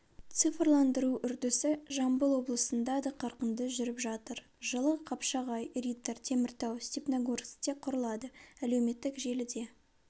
цифрландыру үрдісі жамбыл облысында да қарқынды жүріп жатыр жылы қапшағай риддер теміртау степногорскте құрылады әлеуметтік желіде